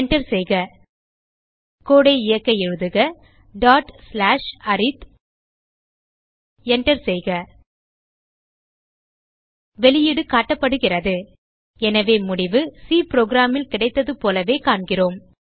Enter செய்க கோடு ஐ இயக்க எழுதுக அரித் Enter செய்க வெளியீடு காட்டப்படுகிறது எனவே முடிவு சி புரோகிராம் ல் கிடைத்ததைப் போல காண்கிறோம்